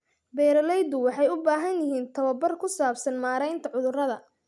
Beeraleydu waxay u baahan yihiin tababar ku saabsan maareynta cudurrada.